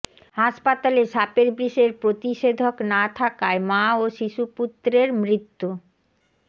হাসপাতালে সাপের বিষের প্রতিষেধক না থাকায় মা ও শিশুপুত্রের মৃত্যু